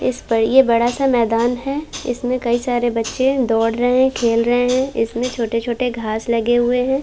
इस पर ये बड़ा सा मैदान है। इसमें कई सारे बच्चे दौड़ रहे हैं खेल रहे हैं। इसमें छोटे-छोटे घास लगे हुए हैं।